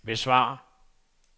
besvar